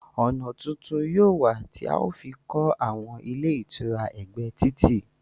Ọ̀nà tuntun yóò wà tí a ó fi kọ àwọn ilé ìtura ẹgbẹ́ títì